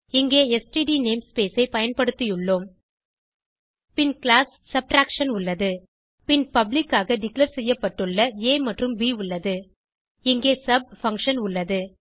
இங்கே std namespace ஐ பயன்படுத்தியுள்ளோம் பின் கிளாஸ் சப்ட்ராக்ஷன் உள்ளது பின் பப்ளிக் ஆக டிக்ளேர் செய்யப்பட்டுள்ள ஆ மற்றும் ப் உள்ளது இங்கே சப் பங்ஷன் உள்ளது